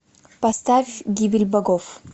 поставь гибель богов